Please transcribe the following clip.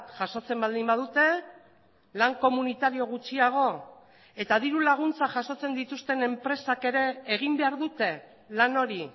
jasotzen baldin badute lan komunitario gutxiago eta dirulaguntza jasotzen dituzten enpresak ere egin behar dute lan hori